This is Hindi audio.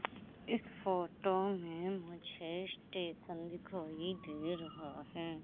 इस फोटो में मुझे स्टेशन दिखाई दे रहा है।